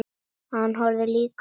Hann horfði líka á mig.